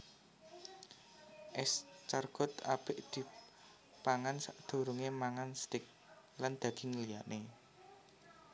Escargot apik dipangan sadurungé mangan steak lan daging liyané